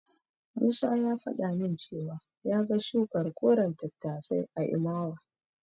Musa ya faɗa min cewa ya ga shukar koren tattasai a Imawa.